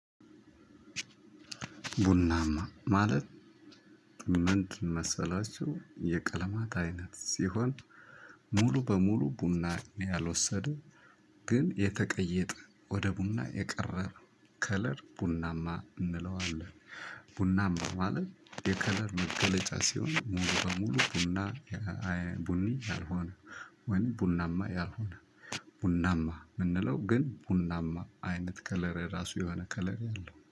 ቡናማ ማለት ምን መሰላችሁ የቀለማት አይነት ሲሆን ሙሉ በሙሉ ቡና ያልወሰደው ግን የተቀየጠ ወደ ቡና የቀረበ ከለር ቡናማ እንለዋለን። ቡናም ማለት የከለር መገለጫ ሲሆን ሙሉ በሙሉ ቡና። ቡኒ ያልሆነ ወይም ቡናማ ያልሆነ ቡናማ የምንለው ግን ቡናማ አይነት ከለር ራሱ የሆነ ከለር ያለው